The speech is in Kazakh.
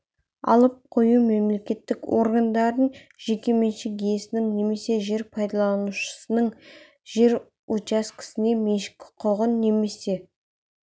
алып қою мемлекеттік органдардың жеке меншік иесінің немесе жер пайдаланушының жер учаскесіне меншік құқығын немесе